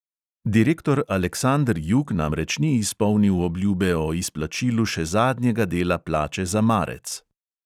Direktor aleksander jug namreč ni izpolnil obljube o izplačilu še zadnjega dela plače za marec.